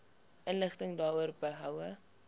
inligting daaroor behoue